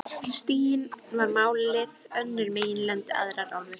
Stiginn var málið, önnur meginlönd, aðrar álfur.